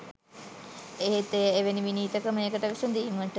එහෙත් එය එවැනි විනීත ක්‍රමයකට විසඳීමට